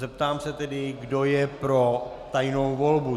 Zeptám se tedy, kdo je pro tajnou volbu.